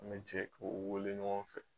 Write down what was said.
An bɛ jɛ k'o wele ɲɔgɔn fɛ.